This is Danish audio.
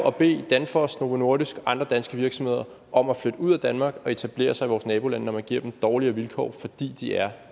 at bede danfoss novo nordisk og andre danske virksomheder om at flytte ud af danmark og etablere sig i vores nabolande når man giver dem dårligere vilkår fordi de er